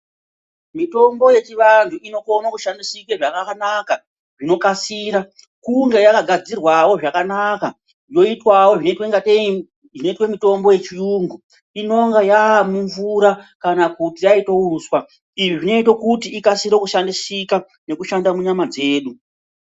Mitombo yechivantu inokone kushandisiike zvakanaka zvinokasira kunge yakagadzirwao zvakanaka yoitwao zvinoitwa ngei ,zvinoitwe mitombo yechiyungu inonga yamumvura kana kuti yaita uswa. Izvi zvinoite kuti ikasire kushandisika nekushanda munyama dzedu.